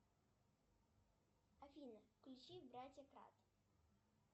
афина включи братья кат